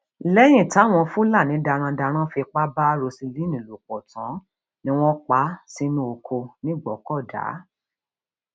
lẹyìn táwọn fúlàní darandaran fipá bá roseline lò pọ tán ni wọn pa á sínú ọkọ nìgbòkọdá